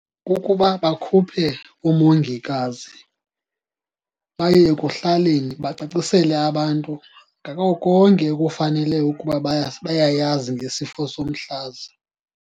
Kukuba bakhuphe umongikazi baye ekuhlaleni, bacacisele abantu ngako konke ekufanele ukuba bayayazi ngesifo somhlaza.